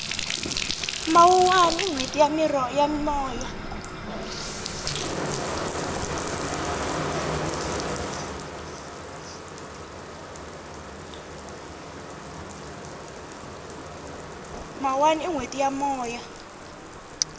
mawuwani i nhweti ya moya